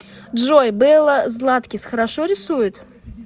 джой белла златкис хорошо рисует